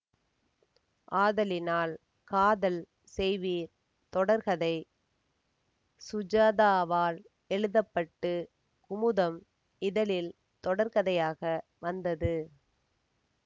ஆதலினால் காதல் செய்வீர் தொடர்கதை சுஜாதாவால் எழுத பட்டு குமுதம் இதழில் தொடர்கதையாக வந்தது